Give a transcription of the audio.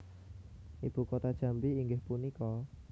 Ibu kota Jambi inggih punika?